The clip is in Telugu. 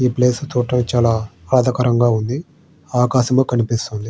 ఈ ప్లేస్ చూడటానికి చాలా ఆధాకరంగా ఉంది ఆకాశం కనిపిస్తుంది.